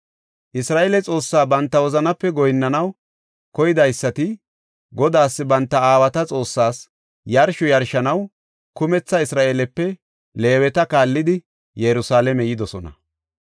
Isra7eele Xoossaa banta wozanape goyinnanaw koydaysati Godaas banta aawata Xoossaas yarsho yarshanaw kumetha Isra7eelepe Leeweta kaallidi Yerusalaame yidosona.